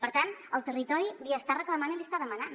per tant el territori li està reclamant i li està demanant